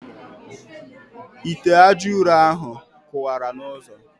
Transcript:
Ite ajaụrọ ahụ kụwara n' ụzọ.